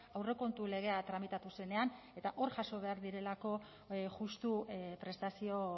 aurrekontu legea tramitatu zenean eta hor jaso behar direlako justu prestazio